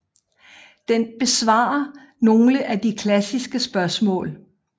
Den besvarer nogle af de klassiske spørgsmål